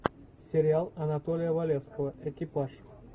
сериал анатолия валевского экипаж